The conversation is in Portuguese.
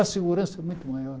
A segurança é muito maior.